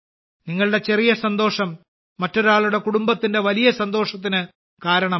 നിങ്ങളുടെ ചെറിയ സന്തോഷം മറ്റൊരാളുടെ കുടുംബത്തിന്റെ വലിയ സന്തോഷത്തിന് കാരണമാകും